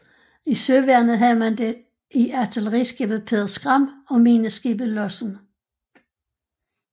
I Søværnet havde man det i artilleriskibet Peder Skram og mineskibet Lossen